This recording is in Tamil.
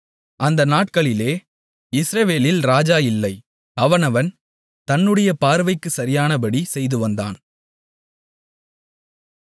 அந்த நாட்களிலே இஸ்ரவேலில் ராஜா இல்லை அவனவன் தன்னுடைய பார்வைக்குச் சரியானபடி செய்து வந்தான்